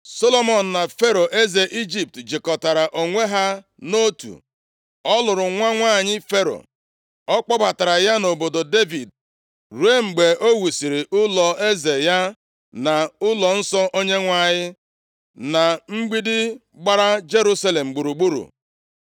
Solomọn na Fero eze Ijipt jikọtara onwe ha nʼotu, ọ lụrụ nwa nwanyị Fero. Ọ kpọbatara ya nʼobodo Devid ruo mgbe o wusiri ụlọeze ya na ụlọnsọ Onyenwe anyị, na mgbidi gbara Jerusalem gburugburu.